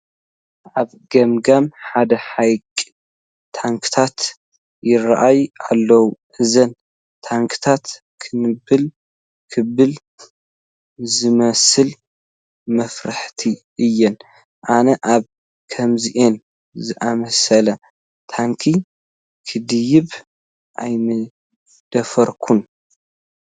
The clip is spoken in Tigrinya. ኣብ ገምገም ሓደ ሃይቅ ታንዃታት ይርአያ አለዋ፡፡ እዘን ታንዃታት ክንብል ክብላ ዝመስላ መፍራሕቲ እየን፡፡ ኣነ ኣብ ከምዚአን ዝኣምሰላ ታንዃ ክድይብ ኣይምደፈርኩን፡፡